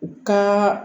U ka